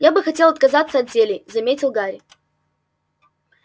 я бы хотел отказаться от зелий заметил гарри